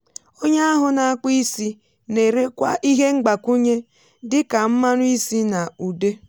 onye ahu na-akpụ́ isi na-erekwa ihe mgbakwunye dị ka mmanụ isi na ude